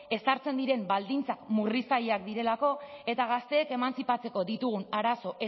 ezartzen diren baldintza murriztaileak direlako eta gazteek emantzipatzeko ditugun arazo